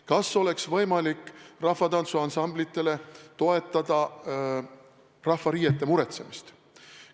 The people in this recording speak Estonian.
Kas oleks võimalik toetada rahvatantsuansamblitele rahvariiete muretsemist?